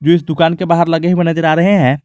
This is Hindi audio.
इस दुकान के बाहर लगे हुए नजर आ रहे है।